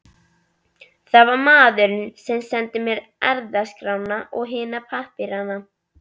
Það var maðurinn sem sendi mér erfðaskrána og hina pappírana.